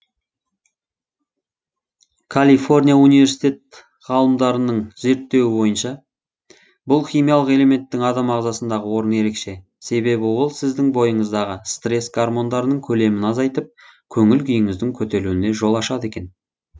калифорния университет ғалымдарының зерттеуі бойынша бұл химиялық элементтің адам ағзасындағы орны ерекше себебі ол сіздің бойыңыздағы стресс гармондарының көлемін азайтып көңіл күйіңіздің көтерілуіне жол ашады екен